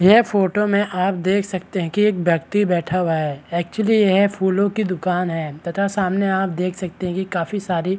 यह फोटो में आप देख सकते है की एक व्यक्ति बैठा हुआ है एक्चुअली यह फूलों की दुकान हैं तथा सामने आप देख सकते है की काफी सारी --